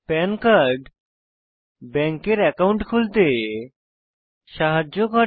পান কার্ড ব্যাংকের অ্যাকাউন্ট খুলতে সাহায্য করে